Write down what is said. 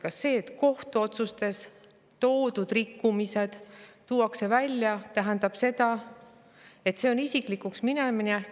Kas see, et kohtuotsustes rikkumised tuuakse välja, tähendab isiklikuks minemist?